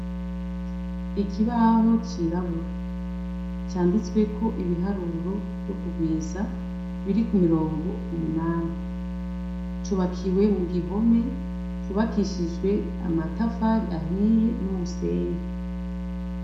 Ikibaho cirabura. Canditsweko ibiharuro vyo kurwiza, biri ko mirongo umunani. Cubakiwe mu gihome cubakishijwe amatafari ahiye n'umusenyi.